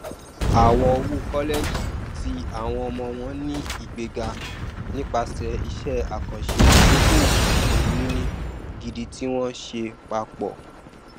àwọn owó kọlẹjì ti àwọn ọmọ wọn ni igbega nípasẹ iṣẹ àkànṣe ìdókòowó ohunìní gidi tí wọn ṣe papọ